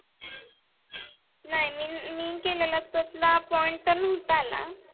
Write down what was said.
नाही मी मी केलाला दूसरा point नव्हता आला.